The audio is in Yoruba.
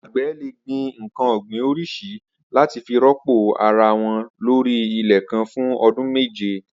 Agbẹ̀ lé gbin nkàn ọ̀gbín óriṣiriṣì làtí fi rọ̀pó árawọ̀n lóri ilẹ̀ kàn fù ọ̀dùn méjé